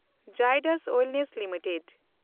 Zydus wellness limited